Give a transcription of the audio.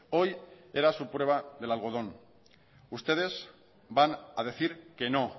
hoy era su prueba del algodón ustedes van a decir que no